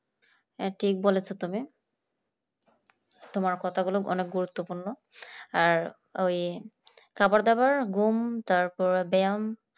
হ্যাঁ ঠিক বলেছ তুমি তুমি তোমার কথাগুলো অনেক গুরুত্বপূর্ণ আর ওই খাবার দাবার ঘুম তারপর ব্যায়াম